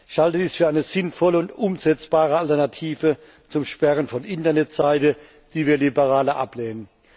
Ich halte dies für eine sinnvolle und umsetzbare Alternative zum Sperren von Internetseiten, die wir als Liberale ablehnen.